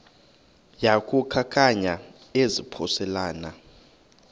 yaku khankanya izaphuselana